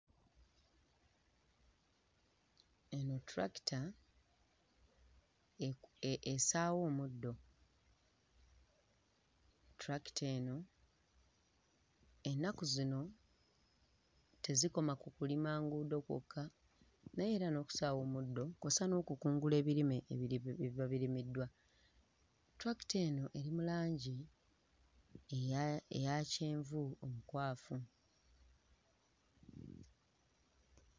Eno ttulakita eku ee essaawa omuddo, ttulakita eno ennaku zino tezikoma ku kulima nguudo kwokka naye era n'okusaawa omuddo kw'ossa n'okukungula ebirime ebiri ebiba birimiddwa, ttulakita eno eri mu langi eya eya kyenvu omukwafu.